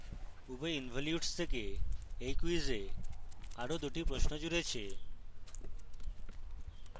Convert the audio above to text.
উভয় involutes থেকে এই quiz এ আরো 2 টি প্রশ্ন জুড়েছে